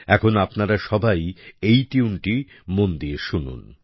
এখন আপনারা সবাই এই টিউনটি মন দিয়ে শুনুন